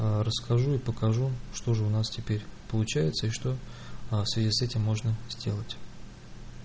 расскажу и покажу что же у нас теперь получается и что в связи с этим можно сделать